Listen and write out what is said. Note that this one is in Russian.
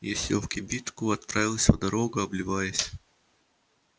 я сел в кибитку отправился в дорогу обливаясь